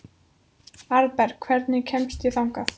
Arnberg, hvernig kemst ég þangað?